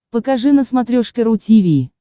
покажи на смотрешке ру ти ви